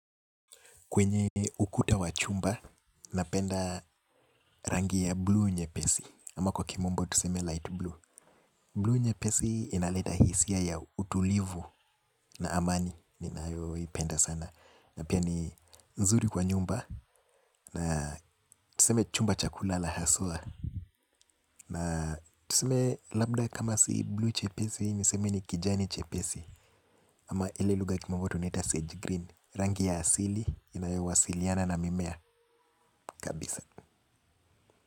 Kwenye ukuta wa chumba, napenda rangi ya bluu nyepesi. Ama kwa kimombo tuseme light blue. Bluu nyepesi inaleta hisia ya utulivu na amani. Ninayo ipenda sana. Na pia ni nzuri kwa nyumba. Na tuseme chumba cha kulala haswa. Na tuseme labda kama si bluu chepesi, niseme ni kijani chepesi. Ama ile lugha kimombo tunaita sage green. Rangi ya asili, inayowasiliana na mimea kabisa.